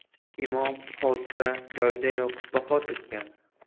Imom hodisa joyidayoq vafot etgan.